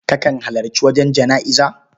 Kakan halarci wajen jana'iza?